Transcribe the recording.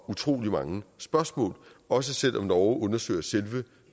utrolig mange spørgsmål og selv om norge undersøger selve